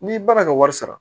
N'i ban na ka wari sara